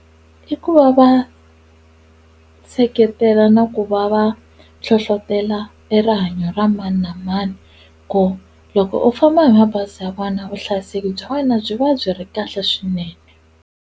I ku va va seketela na ku va va hlohlotelo e rihanyo ra mani na mani ku loko u famba hi mabazi ya vona vuhlayiseki bya wena byi va byi ri kahle swinene.